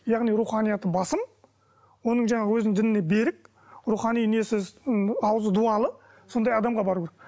яғни руханияты басым оның жаңағы өзінің дініне берік рухани несі ауызы дуалы сондай адамға бару керек